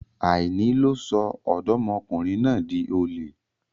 Àìní ló sọ Ọ̀dọ́mọkùnrin náà di olè.